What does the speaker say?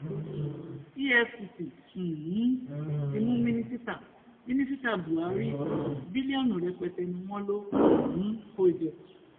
efcc um ti mú mínísítà mínísítà buhari biliọnu rẹpẹtẹ ni wọn lò um kó jẹ